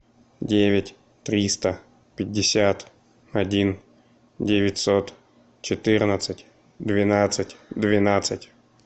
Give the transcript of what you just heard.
девять триста пятьдесят один девятьсот четырнадцать двенадцать двенадцать